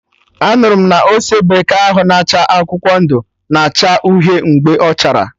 Anụrụ m na ose bekee ahụ na acha akwụkwọ ndụ, na acha uhie mgbe ọchara